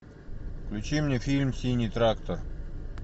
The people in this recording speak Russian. включи мне фильм синий трактор